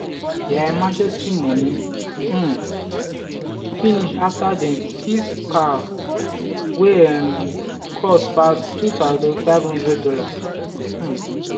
their emergency money um finish after dem fix car wey um cost pass $2500. um